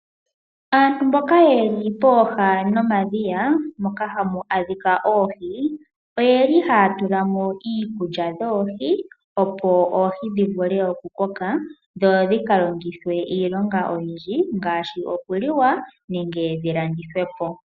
Aantu mboka ye li pooha nomadhiya moka hamu adhika oohi , oyeli haya tulamo iikulya yoohi opo oohi dhivule okukoka , dho dhika longithwe iilonga oyindji ngaashi okuliwa nenge dhilandithwepo.